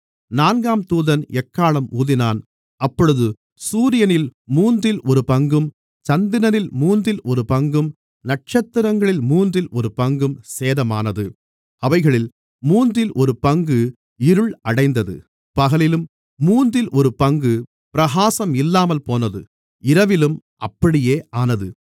நான்காம் தூதன் எக்காளம் ஊதினான் அப்பொழுது சூரியனில் மூன்றில் ஒருபங்கும் சந்திரனில் மூன்றில் ஒருபங்கும் நட்சத்திரங்களில் மூன்றில் ஒருபங்கும் சேதமானது அவைகளில் மூன்றில் ஒரு பங்கு இருள் அடைந்தது பகலிலும் மூன்றில் ஒரு பங்கு பிரகாசம் இல்லாமல்போனது இரவிலும் அப்படியே ஆனது